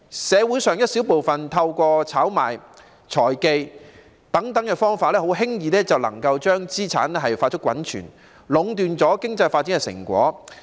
社會上一小部分人透過炒賣活動、財技等方法，很輕易就能夠把資產快速滾存，壟斷了經濟發展的成果。